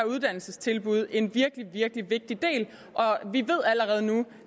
uddannelsestilbud en virkelig virkelig vigtig del vi ved allerede nu